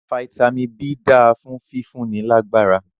Fitami B dáa fún fífúnni lágbára.